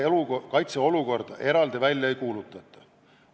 Kaitseolukorda eraldi välja ei kuulutata.